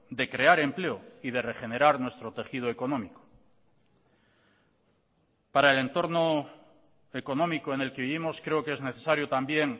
de crear empleo y de regenerar nuestro tejido económico para el entorno económico en el que vivimos creo que es necesario también